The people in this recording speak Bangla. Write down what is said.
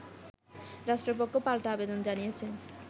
রাষ্ট্রপক্ষ পাল্টা আবেদন জানিয়েছে